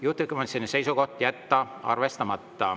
Juhtivkomisjoni seisukoht: jätta arvestamata.